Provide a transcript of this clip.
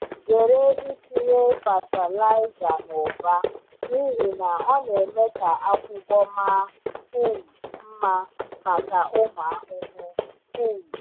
Zere itinye fatịlaịza n’ụba n’ihi na ọ na-eme ka akwụkwọ maa um mma maka ụmụ ahụhụ. um